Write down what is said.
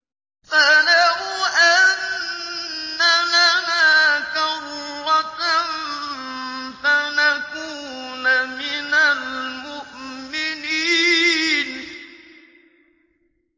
فَلَوْ أَنَّ لَنَا كَرَّةً فَنَكُونَ مِنَ الْمُؤْمِنِينَ